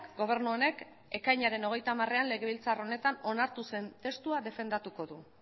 gobernu honek ekainaren hogeita hamarean legebiltzar honetan onartu zen testua defendatuko du